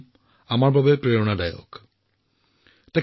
তামিলনাডুৰ গল্প কোৱা পৰম্পৰা ৰক্ষা কৰি তেওঁ প্ৰশংসনীয় কাম কৰিছে